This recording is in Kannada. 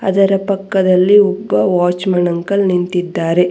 ಅದರ ಪಕ್ಕದಲ್ಲಿ ಒಬ್ಬ ವಾಚ್ ಮ್ಯಾನ್ ಅಂಕಲ್ ನಿಂತಿದ್ದಾರೆ.